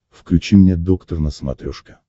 включи мне доктор на смотрешке